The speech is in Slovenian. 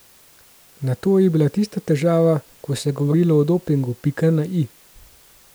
Nato je bila tista težava, ko se je govorilo o dopingu, pika na i.